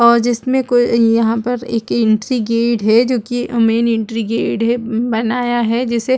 और जिसमें कोई यहाँ पर एक एंट्री गेट है जो की मैन एंट्री गेट है बनाया है जैसे--